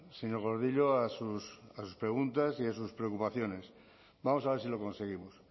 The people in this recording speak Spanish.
señor gordillo a sus preguntas y a sus preocupaciones vamos a ver si lo conseguimos